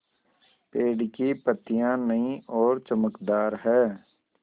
पेड़ की पतियां नई और चमकदार हैँ